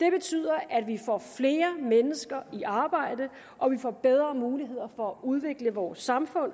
det betyder at vi får flere mennesker i arbejde og vi får bedre muligheder for at udvikle vores samfund